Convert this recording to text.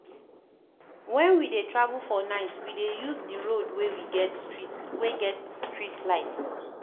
Wen we dey travel for night, we dey use di road wey get streetlights.